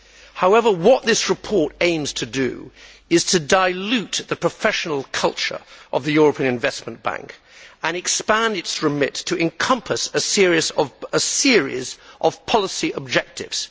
However, what this report aims to do is to dilute the professional culture of the European Investment Bank and expand its remit to encompass a series of policy objectives.